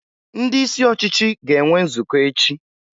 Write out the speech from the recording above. Ndị isi ọchịchị ga-enwe nzukọ echi.